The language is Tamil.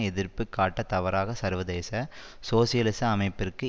எதிர்ப்பு காட்ட தவறாக சர்வதேச சோசியலிச அமைப்பிற்கு